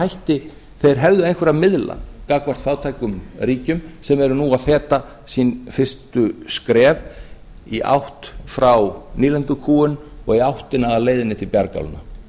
hætti þeir hefðu einhverja að miðla gagnvart fátækum ríkjum sem eru nú að feta sín fyrstu skref í átt frá nýlendukúgun og í áttina að leiðinni til bjargálna